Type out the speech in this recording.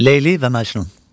Leyli və Məcnun.